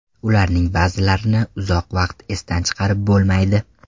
Ularning ba’zilarini uzoq vaqt esdan chiqarib bo‘lmaydi.